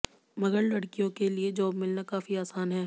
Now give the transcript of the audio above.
मगर लड़कियों के लिए जॉब मिलना काफी आसान है